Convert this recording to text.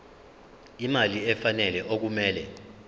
imali efanele okumele